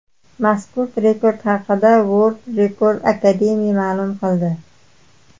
Mazkur rekord haqida World Record Academy ma’lum qildi .